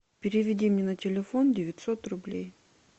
переведи мне на телефон девятьсот рублей